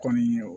Kɔni ye o